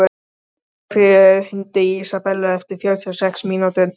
Steinfríður, hringdu í Ísabellu eftir fjörutíu og sex mínútur.